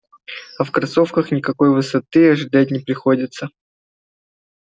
а в кроссовках никакой высоты ожидать не приходится